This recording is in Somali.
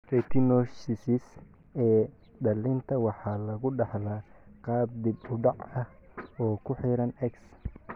retinoschisis ee dhallinta waxa lagu dhaxlaa qaab dib u dhac ah oo ku xidhan x.